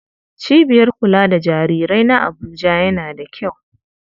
Cibiyar kula da jarirai na Abuja yana da kyau.